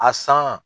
A san